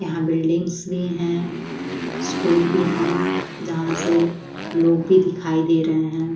यहाँ बिल्डिंग्स भी हैं स्कूल भी हैं जहाँ से लोग भी दिखाई दे रहे हैं।